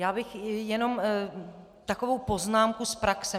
Já bych jenom takovou poznámku z praxe.